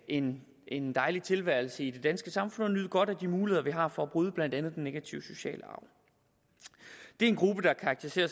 en en dejlig tilværelse i det danske samfund og nyde godt af de muligheder vi har for at bryde blandt andet den negative sociale arv det er en gruppe der er karakteriseret